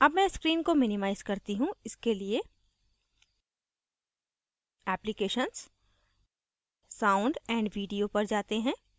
अब मैं screen को minimize करती हूँ इसके लिए applications sound & video पर जाते हैं